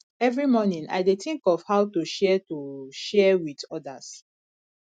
every morning i dey think of how to share to share with others